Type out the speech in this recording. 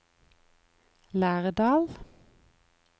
Lærdal